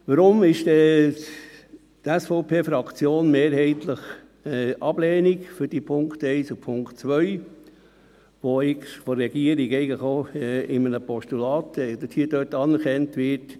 Weshalb ist dann die SVP-Fraktion mehrheitlich für die Ablehnung der Punkte 1 und 2, die eigentlich von der Regierung auch in einem Postulat hier anerkannt werden?